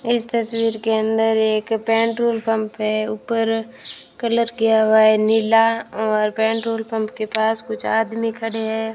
इस तस्वीर के अंदर एक पेट्रोल पंप है ऊपर कलर किया हुआ है नीला और पेट्रोल पंप के पास कुछ आदमी खड़े हैं।